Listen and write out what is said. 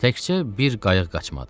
Təkcə bir qayıq qaçmadı.